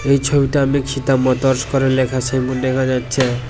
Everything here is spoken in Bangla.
এই ছবিটা মোটরস করে লেখা আছে এমন দেখা যাচ্ছে।